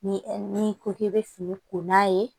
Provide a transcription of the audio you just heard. Ni n'i ko k'i be fini ko n'a ye